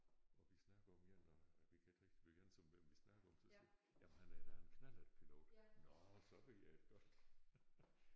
Og vi snakker om en og vi kan ikke rigtig blive enige om hvem vi snakker om så siger jeg jamen han er da en knallertpilot nåh så ved jeg det godt